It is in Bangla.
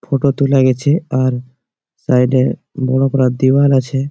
ফটো তুলে গাছে। আর সাইড এ বড়ো ডায়াল আছে।